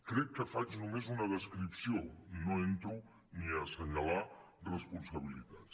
crec que faig només una descripció no entro ni a senyalar responsabilitats